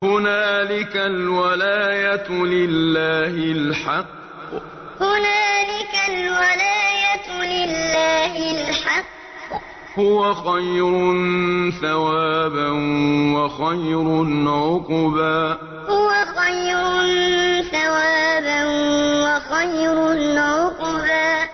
هُنَالِكَ الْوَلَايَةُ لِلَّهِ الْحَقِّ ۚ هُوَ خَيْرٌ ثَوَابًا وَخَيْرٌ عُقْبًا هُنَالِكَ الْوَلَايَةُ لِلَّهِ الْحَقِّ ۚ هُوَ خَيْرٌ ثَوَابًا وَخَيْرٌ عُقْبًا